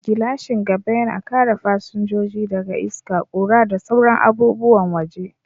Gilashin gaba yana kare fasinjoji daga iska, ƙura, da sauran abubuwan waje.